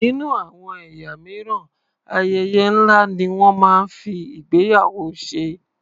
Nínú àwọn ẹ̀yà mìíràn, ayẹyẹ ńlá ni wọ́n máa ń fi ìgbéyàwó ṣe.